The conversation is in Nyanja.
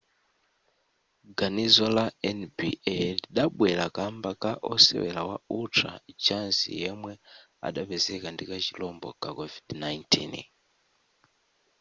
ganizo la nba lidabwera kamba ka osewera wa utah jazz yemwe adapezeka ndi ka chirombo ka covid-19